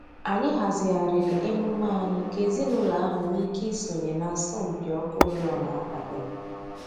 Anyị hazigharịrị emume anyị ka ezinụlọ ahụ nwee ike isonye n'asọmpi ọkụ oriọna abalị a